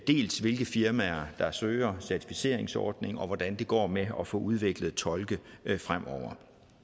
dels hvilke firmaer der søger certificeringsordning dels hvordan det går med at få udviklet tolke fremover